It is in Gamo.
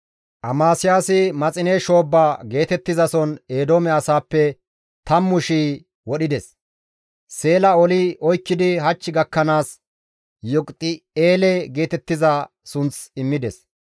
Amasiyaasi, «Maxine shoobba» geetettizason Eedoome asaappe 10,000 wurssides; Seela oli oykkidi hach gakkanaas Yoqiti7eele geetettiza sunth immides.